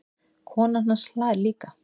Konan hans hlær líka.